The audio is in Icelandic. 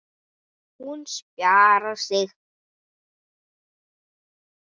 Hún spjarar sig.